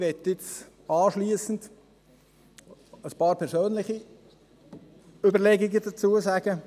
– Ich möchte anschliessend ein paar persönliche Überlegungen dazu anbringen: